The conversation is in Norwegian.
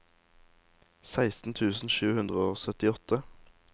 seksten tusen sju hundre og syttiåtte